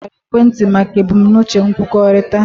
Emepụtara ekwentị maka ebumnuche nkwukọrịta.